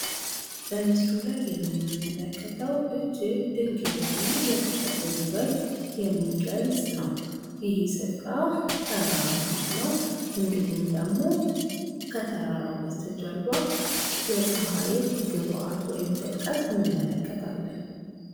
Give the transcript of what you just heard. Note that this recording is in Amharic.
በምስሉ ላይ የምንመለከተው እጅግ ድንቅ የሆነን የተፈጥሮ ውበት የሚገልፅ ነው። ይሄ ስፍራ ተራራም አለው፤ እንዲሁም ደግሞ ከተራራው በስተጀርባ የፀሐይን ግባት ወይም ጥልቀት እንመለከታለን።